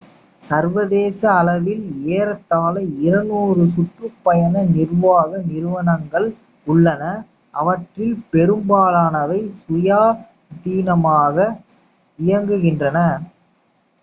சர்வதேச அளவில் ஏறத்தாழ 200 சுற்றுப்பயண நிர்வாக நிறுவனங்கள் உள்ளன அவற்றில் பெரும்பாலானவை சுயாதீனமாக இயங்குகின்றன